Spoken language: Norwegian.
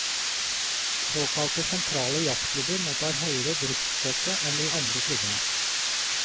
Såkalte sentrale jazzklubber mottar høyere driftsstøtte enn de andre klubbene.